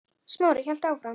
Smári hélt áfram.